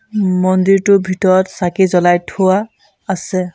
মন্দিৰটোৰ ভিতৰত চাকি জ্বলাই থোৱা আছে।